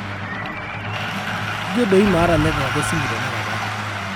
ijio doi maata network e simu tenakata